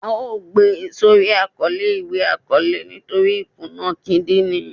À o gbé sórí Àkọlé iwe akọọlẹ nítorí ìkúná kídínrín